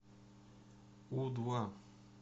у два